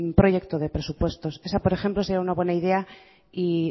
proyecto de presupuestos esa por ejemplo sería una buena idea y